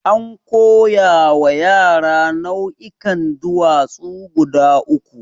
An koya wa yara nau'ikan duwatsu guda uku.